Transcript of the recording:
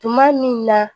Tuma min na